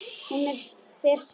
Hún fer suður.